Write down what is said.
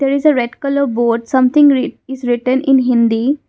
it is a red colour board something is written in hindi.